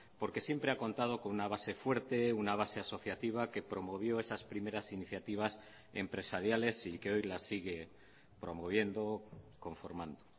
porque siempre ha contado con una base fuerte una base asociativa que promovió esas primeras iniciativas empresariales y que hoy las sigue promoviendo conformando